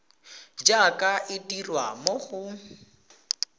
jaaka e dirwa mo go